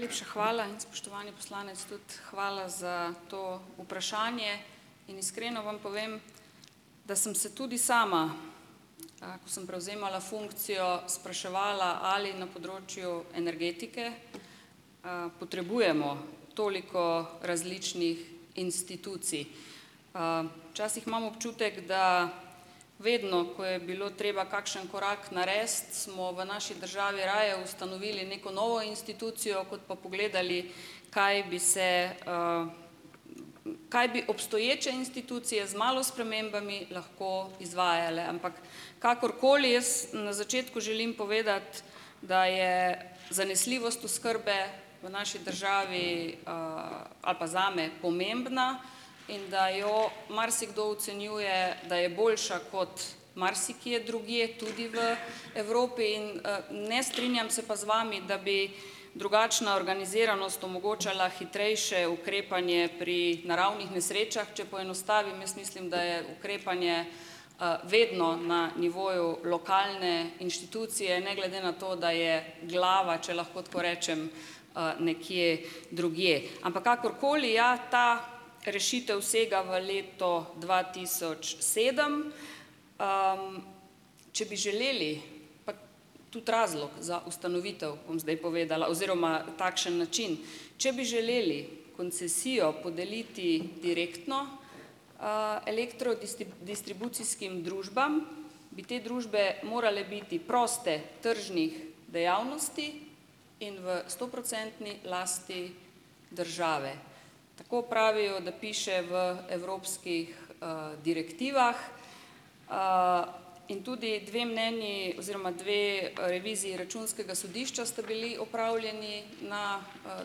Najlepša hvala in, spoštovani poslanec, tudi hvala za to vprašanje in iskreno vam povem, da sem se tudi sama, ko sem prevzemala funkcijo, spraševala, ali na področju energetike potrebujemo toliko različnih institucij. Včasih imam občutek, da vedno, ko je bilo treba kakšen korak narediti, smo v naši državi raje ustanovili neko novo institucijo, kot pa pogledali, kaj bi se kaj bi obstoječe institucije z malo spremembami lahko izvajale. Ampak kakorkoli, jaz, na začetku želim povedati, da je zanesljivost oskrbe v naši državi ali pa zame, pomembna in da jo marsikdo ocenjuje, da je boljša kot marsikje drugje, tudi v Evropi, in ne strinjam se pa z vami, da bi drugačna organiziranost omogočala hitrejše ukrepanje pri naravnih nesrečah. Če poenostavim, jaz mislim, da je ukrepanje vedno na nivoju lokalne inštitucije, ne glede na to, da je glava, če lahko tako rečem, nekje drugje. Ampak kakorkoli, ja, ta rešitev sega v leto dva tisoč sedem. Če bi želeli, pa tudi razlog za ustanovitev bom zdaj povedala oziroma takšen način. Če bi želeli koncesijo podeliti direktno distribucijskim družbam, bi te družbe morale biti proste tržnih dejavnosti in v stoprocentni lasti države. Tako pravijo, da piše v evropskih direktivah, in tudi dve mnenji oziroma dve reviziji Računskega sodišča sta bili opravljeni na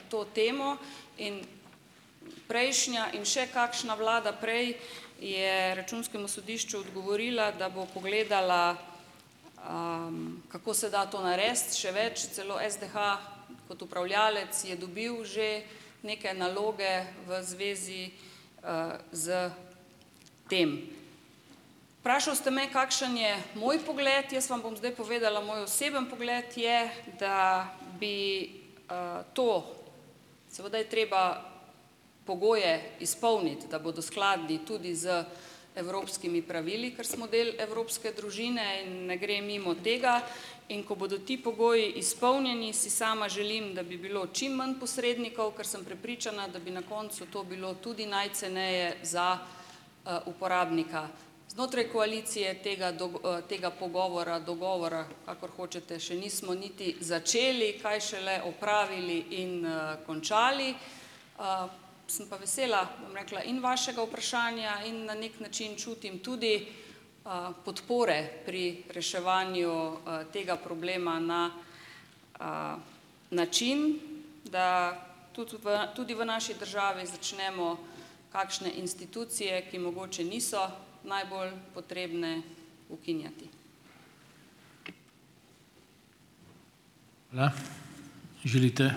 to temo in prejšnja in še kakšna vlada prej je Računskemu sodišču odgovorila, da bo pogledala, kako se da to narediti. Še več, celo SDH kot upravljalec je dobil že neke naloge v zvezi s tem. Vprašal ste me, kakšen je moj pogled. Jaz vam bom zdaj povedala. Moj osebni pogled je, da bi to, seveda je treba pogoje izpolniti, da bodo skladni tudi z evropskimi pravili, ker smo del evropske družine in ne gre mimo tega, in ko bodo ti pogoji izpolnjeni, si sama želim, da bi bilo čim manj posrednikov, ker sem prepričana, da bi na koncu to bilo tudi najceneje za uporabnika. Znotraj koalicije tega dog tega pogovora, dogovora, kakor hočete, še nismo niti začeli, kaj šele opravili in končali. Sem pa vesela, bom rekla, in vašega vprašanja in na neki način čutim tudi podpore pri reševanju tega problema na način, da tudi v tudi v naši državi začnemo kakšne institucije, ki mogoče niso najbolj potrebne, ukinjati.